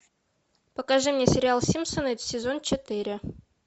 покажи мне сериал симпсоны сезон четыре